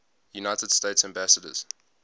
united states ambassadors